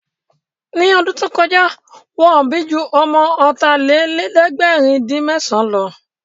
Ní ọdún tó kọjá, Wọ́n bí ju ọmọ ọ̀tàlélẹ̀ẹ̀dẹ́gbèrin-dín-mẹ́san lọ